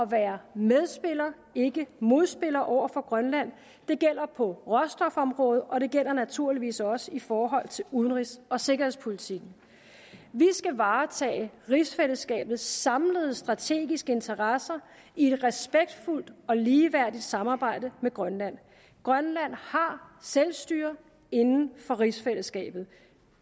være medspiller ikke modspiller over for grønland det gælder på råstofområdet og det gælder naturligvis også i forhold til udenrigs og sikkerhedspolitikken vi skal varetage rigsfællesskabets samlede strategiske interesser i et respektfuldt og ligeværdigt samarbejde med grønland grønland har selvstyre inden for rigsfællesskabet